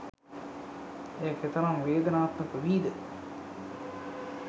එය කෙතරම් වේදනාත්මක වීද